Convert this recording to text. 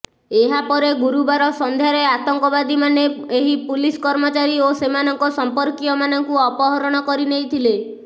ଏହାପରେ ଗୁରୁବାର ସନ୍ଧ୍ୟାରେ ଆତଙ୍କବାଦୀମାନେ ଏହି ପୁଲିସ୍ କର୍ମଚାରୀ ଓ ସେମାନଙ୍କ ସଂପର୍କୀୟମାନଙ୍କୁ ଅପହରଣ କରି ନେଇଥିଲେ